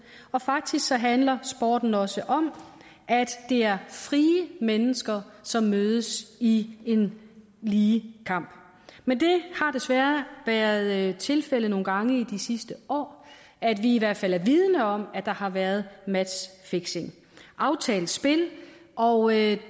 og faktisk handler sporten også om at det er frie mennesker som mødes i en lige kamp men det har desværre været tilfældet nogle gange i de sidste år at vi i hvert fald er vidende om at der har været matchfixing aftalt spil og